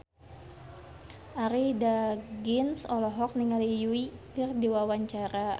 Arie Daginks olohok ningali Yui keur diwawancara